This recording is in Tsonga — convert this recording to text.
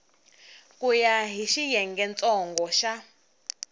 ku ya hi xiyengentsongo xa